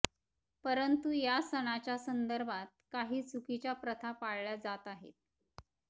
परंतु या सणाच्या संदर्भात काही चुकीच्या प्रथा पाळल्या जात आहेत